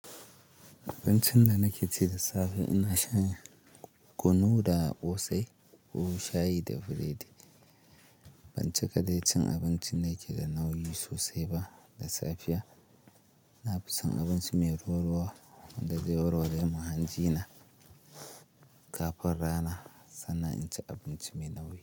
Abincin nan nake ci da safe ina shan, kunu da ƙosai ko shayi da biredi. Ban cika dai cin abinci da ke da nauyi sosai ba. Da safiya, na fi son abinci mai ruwa-ruwa wanda zai warware mun hanjina. Kafin rana, sannan in ci abinci mai nauyi.